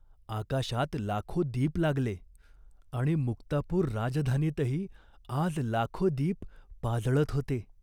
आकाशात लाखो दीप लागले, आणि मुक्तापूर राजधानीतही आज लाखो दीप पाजळत होते.